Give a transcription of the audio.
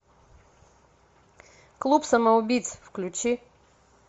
клуб самоубийц включи